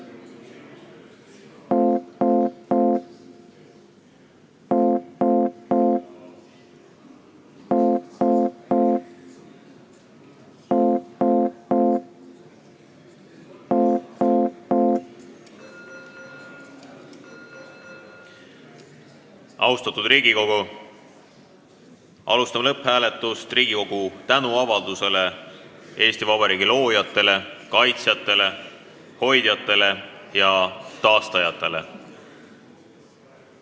Austatud Riigikogu, panen lõpphääletusele Riigikogu tänuavalduse Eesti Vabariigi loojatele, kaitsjatele, hoidjatele ja taastajatele.